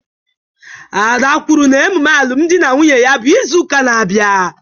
Ada kwuru na emume alụmdi na nwunye ya bụ izu ụka na-abịa